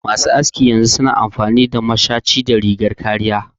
Masu askin yanzu su na amfani da mashaci da rigar kariya